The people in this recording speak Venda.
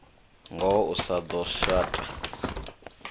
ngoho u sa ḓo shata